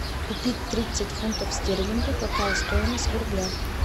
купить тридцать фунтов стерлингов какая стоимость в рублях